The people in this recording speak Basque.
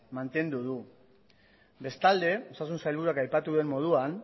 mantendu du bestalde osasun sailburuak aipatu duen moduan